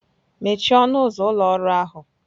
Mechie ọnụ ụzọ ụlọ ọrụ ahụ!